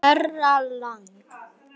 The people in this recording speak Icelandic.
Herra Lang.